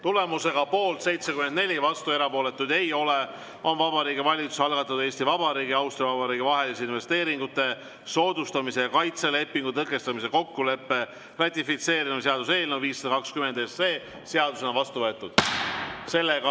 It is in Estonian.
Tulemusega poolt 74, vastuolijaid ja erapooletuid ei ole, on Vabariigi Valitsuse algatatud Eesti Vabariigi ja Austria Vabariigi vahelise investeeringute soodustamise ja kaitse lepingu lõpetamise kokkuleppe ratifitseerimise seaduse eelnõu 520 seadusena vastu võetud.